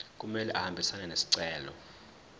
kumele ahambisane nesicelo